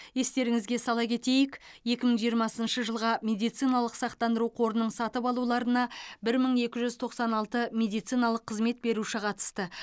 естеріңізге сала кетейік екі мың жиырмасыншы жылға медициналық сақтандыру қорының сатып алуларына бір мың екі жүз тоқсан алты медициналық қызмет беруші қатысты